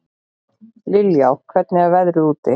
Liljá, hvernig er veðrið úti?